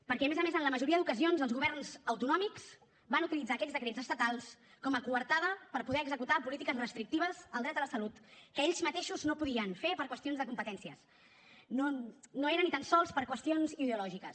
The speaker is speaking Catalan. perquè a més a més en la majoria d’ocasions els governs autonòmics van utilitzar aquests decrets estatals com a coartada per poder executar polítiques restrictives al dret a la salut que ells mateixos no podien fer per qüestions de competències no era ni tan sols per qüestions ideològiques